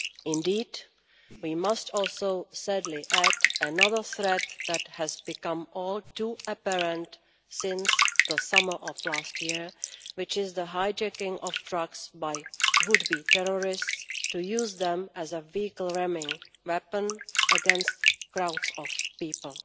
Indeed, we must also sadly add another threat that has become all too apparent since the summer of last year, which is the hijacking of trucks by would be terrorists to use them as a vehicle ramming weapon against crowds of people.